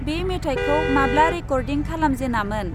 बे मेथाइखौ माब्ला रेकर्डिं खालामजेनामोन?